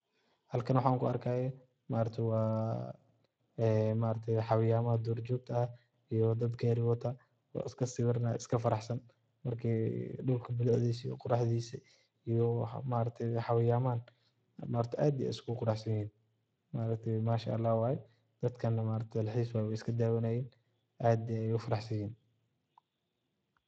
Halkan waxan kuarkaya xawayamada dur jogta ah iyo dad gari wata oo iskasibiraya iskafaraxsan dulka bilacdisa iyo quraxdisa iyo maaragtaye xawayamahan ad iyo ad ayay uquruxsanyihin manshaalah waye dadkanah dalxis waye way iskadabanayan ad ayay ufarax sanyihin.